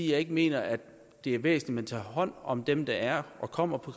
jeg ikke mener at det er væsentligt at tage hånd om dem der er og kommer på